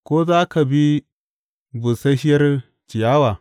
Ko za ka bi busasshiyar ciyawa?